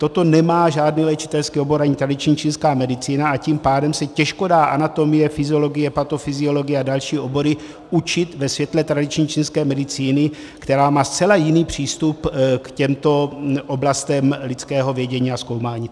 Toto nemá žádný léčitelský obor ani tradiční čínská medicína, a tím pádem se těžko dá anatomie, fyziologie, patofyziologie a další obory učit ve světle tradiční čínské medicíny, která má zcela jiný přístup k těmto oblastem lidského vědění a zkoumání.